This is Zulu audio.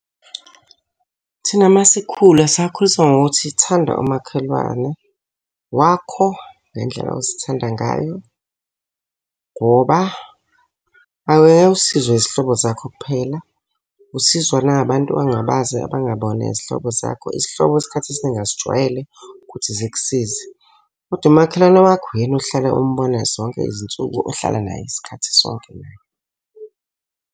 Thina uma sikhula sakhuliswa ngokuthi thanda umakhelwane wakho ngendlela ozithanda ngayo, ngoba angeke usizwe izihlobo zakho kuphela. Usizwa nangabantu ongabazi abangabona izihlobo zakho. Isihlobo isikhathi esiningi asijwayele ukuthi zikusize. Kodwa umakhelwane wakho, uyena ohlale umbona zonke izinsuku ohlala naye isikhathi sonke naye.